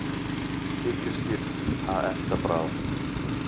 Tígrisdýr að elta bráð.